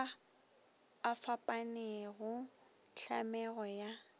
a a fapanego tlhamego ya